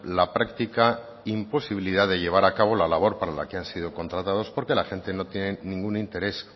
la práctica imposibilidad de llevar a cabo la labor para la que han sido contratados porque la gente no tiene ningún interés